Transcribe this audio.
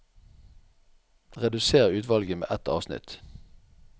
Redusér utvalget med ett avsnitt